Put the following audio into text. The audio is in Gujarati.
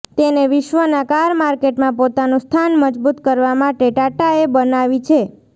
તેને વિશ્વના કાર માર્કેટમાં પોતાનું સ્થાન મજબૂત કરવા માટે ટાટાએ બનાવી છે